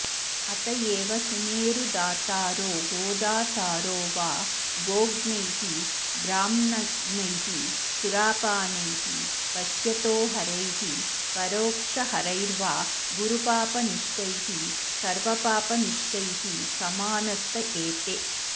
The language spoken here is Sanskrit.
अत एव सुमेरुदातारो गोदातारो वा गोघ्नैः ब्राह्मणघ्नैः सुरापानैः पश्यतोहरैः परोक्षहरैर्वा गुरुपापनिष्ठैः सर्वपापनिष्ठैः समानास्त एते